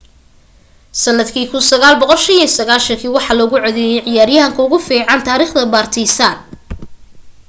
sandkii 1995 waxaa loogu codeeyay ciyaryahanka ugu fican taarikhda partizan